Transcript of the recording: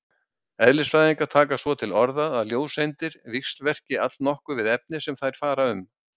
Eðlisfræðingar taka svo til orða að ljóseindir víxlverki allnokkuð við efnið sem þær fara um.